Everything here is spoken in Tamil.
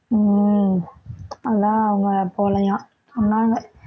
உம் அதான் அவங்க போகலையாம், சொன்னாங்க